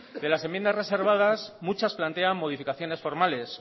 de las enmiendas reservadas muchas plantean modificaciones formales